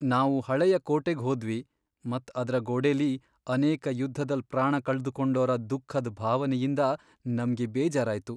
ನಾವು ಹಳೆಯ ಕೋಟೆಗ್ ಹೋದ್ವಿ ಮತ್ ಅದ್ರ ಗೋಡೆಲಿ ಅನೇಕ ಯುದ್ಧದಲ್ ಪ್ರಾಣ ಕಳ್ದುಕೊಂಡೋರಾ ದುಃಖದ್ ಭಾವನೆಯಿಂದ ನಮ್ಗೆ ಬೇಜಾರಾಯ್ತು.